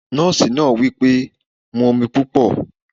Drink plenty of water! the nurse said